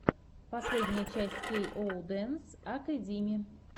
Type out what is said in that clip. последняя часть кей оу дэнс акэдими